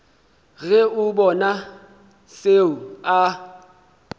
ge a bona seo a